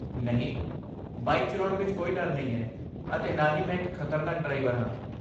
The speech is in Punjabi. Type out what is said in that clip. ਨਹੀਂ, ਬਾਈਕ ਚਲਾਉਣ ਵਿੱਚ ਕੋਈ ਡਰ ਨਹੀਂ ਹੈ ਅਤੇ ਨਾ ਹੀ ਮੈਂ ਇੱਕ ਖਤਰਨਾਕ ਡਰਾਈਵਰ ਹਾਂ।